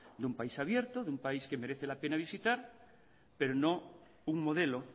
de un país abierto de un país que merece la pena visitar pero no un modelo